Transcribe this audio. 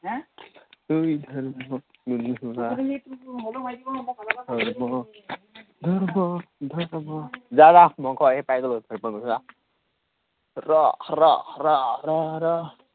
হম এৰ ঐ ধৰ্ম গোন্ধোৱা ধৰ্ম ধৰ্ম ধৰ্ম। যা যা মই ঘৰ পাই গলো তই ঘৰলৈ যা।